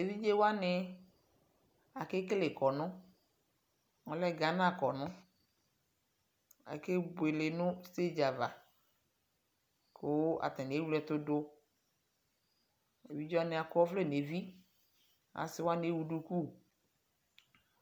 tɛvidze wane akele kɔn kɔnuɛ lɛ Gana kɔnu Ake iele no stage ava ko atane ewle ɛto do Evidze wanw akɔ ɔvlɛ neviAse wane awu duku